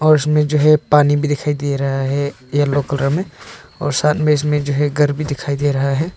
उसमें जो है पानी भी दिखाई दे रहा है येलो कलर में और साथ में इसमें जो है घर भी दिखाई दे रहा है।